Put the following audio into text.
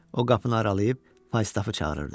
O qapını aralayıb Faystaffı çağırırdı.